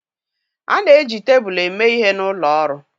A na-eji tebụl eme ihe n'ụlọ ọrụ